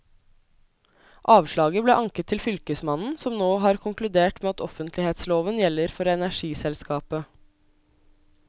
Avslaget ble anket til fylkesmannen, som nå har konkludert med at offentlighetsloven gjelder for energiselskapet.